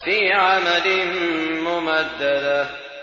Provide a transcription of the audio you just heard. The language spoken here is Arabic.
فِي عَمَدٍ مُّمَدَّدَةٍ